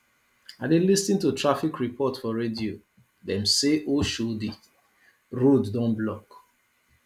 i dey lis ten to traffic report for radio dem say oshodi road don block